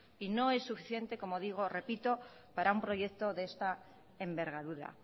y no es suficiente para un proyecto de esta envergadura